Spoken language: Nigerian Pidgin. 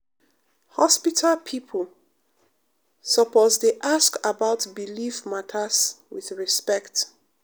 hospital pipo um suppose dey ask about belief matters with respect.